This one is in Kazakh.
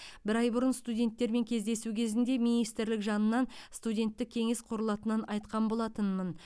бір ай бұрын студенттермен кездесу кезінде министрлік жанынан студенттік кеңес құрылатынын айтқан болатынмын